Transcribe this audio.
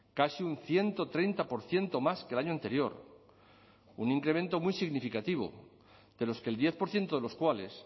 casi un ciento treinta por ciento más que el año anterior un incremento muy significativo de los que el diez por ciento de los cuales